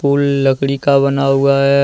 पुल लकड़ी का बना हुआ है ।